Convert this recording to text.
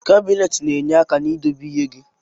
Kabinet na enye aka idobe ihe gi.